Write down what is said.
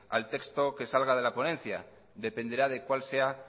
al texto que salga de la ponencia dependerá de cuál sea